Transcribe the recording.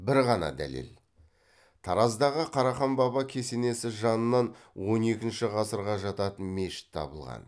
бір ғана дәлел тараздағы қарахан баба кесенесі жанынан он екінші ғасырға жататын мешіт табылған